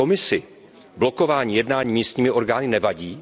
Komisi blokování jednání místními orgány nevadí?